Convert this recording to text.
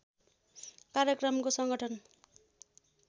कार्यक्रमको सङ्गठन